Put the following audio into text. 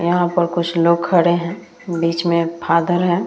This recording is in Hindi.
यहां पर कुछ लोग खड़े हैं बीच में एक फादर है।